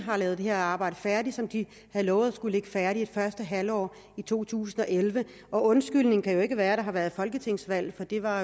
har lavet det her arbejde færdigt som de havde lovet skulle ligge færdigt i første halvår af to tusind og elleve undskyldningen kan jo ikke være at der har været folketingsvalg for det var